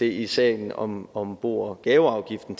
i sagen om om bo og gaveafgiften